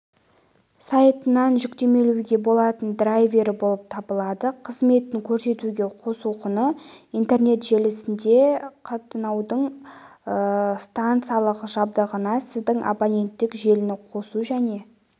сайтынан жүктемелеуге болатын драйвері болып табылады қызметін көрсетуге қосу құны интернет желісіне қатынаудың стансалық жабдығына сіздің абоненттік желіні қосу және